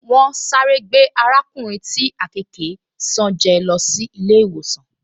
Wọ́n sáré gbé arákùnrin tí àkekèé ṣán jẹ́ lọ sí ilé-ìwòsàn